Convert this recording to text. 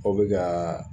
Aw bɛ ka